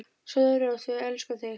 Sofðu rótt, við elskum þig.